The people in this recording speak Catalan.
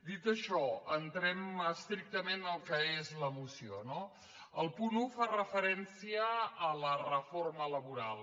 dit això entrem estrictament en el que és la moció no el punt un fa referència a la reforma laboral